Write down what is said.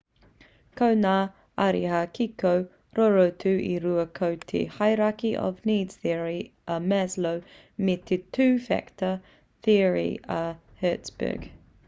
ko ngā ariā kiko rorotu e rua ko te hierarchy of needs theory a maslow me te two factor theory a hertzberg